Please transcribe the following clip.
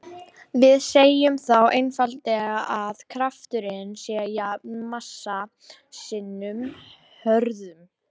Við segjum þá einfaldlega að krafturinn sé jafn massa sinnum hröðun.